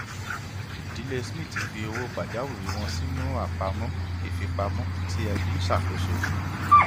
ìdílé smith fi owó pajawiri wọn sínú àpamọ ìfipamọ tí ẹbí ń ṣàkóso